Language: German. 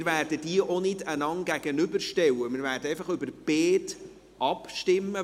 Wir werden diese einander nicht gegenüberstellen, sondern über beide abstimmen.